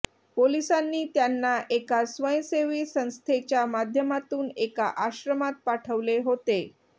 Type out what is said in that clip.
पोलिसांनी त्यांना एका स्वयंसेवी संस्थेच्या माध्यमातून एका आश्रमात पाठवले होते